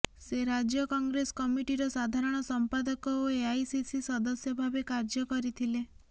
ସେ ରାଜ୍ୟ କଂଗ୍ରେସ କମିଟିର ସାଧାରଣ ସଂପାଦକ ଓ ଏଆଇସିସି ସଦସ୍ୟ ଭାବେ କାର୍ୟ୍ୟ କରିଥିଲେ